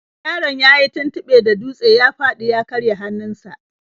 Yaron yayi tuntuɓe da dutse ya fadi ya karya hannunsa.